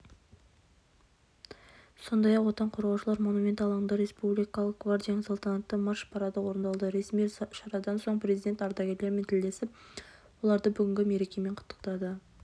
сондай-ақ отан қорғаушылар монументі алаңында республикалық гвардияның салтанатты марш-парады орындалды ресми шарадан соң президент ардагерлермен тілдесіп оларды бүгінгі мерекемен құттықтады